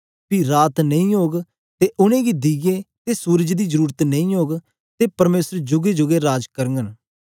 पी रात नेई ओग ते उनेंगी दीये ते सूरज दी जरुरत नेई ओग ते परमेसर जूगे जूगे राज करघंन